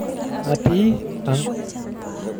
Atii ang'.